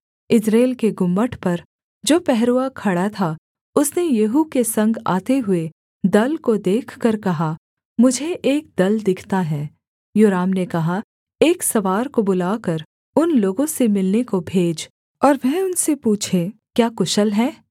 यिज्रेल के गुम्मट पर जो पहरुआ खड़ा था उसने येहू के संग आते हुए दल को देखकर कहा मुझे एक दल दिखता है योराम ने कहा एक सवार को बुलाकर उन लोगों से मिलने को भेज और वह उनसे पूछे क्या कुशल है